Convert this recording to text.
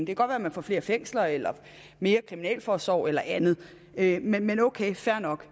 kan godt være man får flere fængsler eller mere kriminalforsorg eller andet men ok fair nok